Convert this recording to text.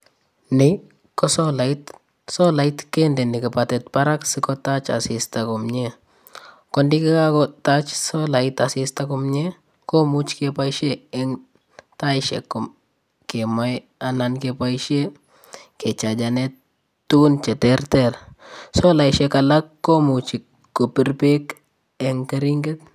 Nii ko solait, solait kendeni kipatiit barak sikotach asista komie , ko ido kakotach solait asista komie komuch keboishen en taishek kemoi anan keboishen kechachenen tukun cheterter, solaishe alakkomuch keboishen kebir beek.